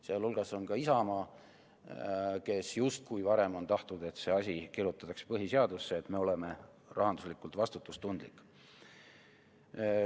Nende hulgas on Isamaa, kes justkui varem on tahtnud, et see asi kirjutataks põhiseadusesse, et me oleme rahanduslikult vastutustundlikud.